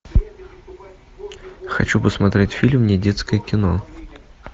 хочу посмотреть фильм недетское кино